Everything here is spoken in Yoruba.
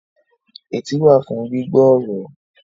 Etí wà fún gbígbọ́ ọ̀rọ̀